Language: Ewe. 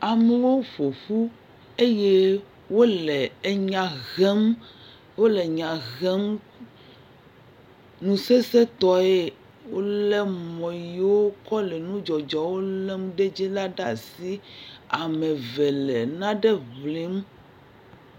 Amewo ƒo ƒu eye wole nya hem, wole nya hem nu sesẽ tɔe, wolé mɔ yiwo kɔ le nudzɔdzɔwo lem la ɖe asi. Ame eve le nane ŋlim.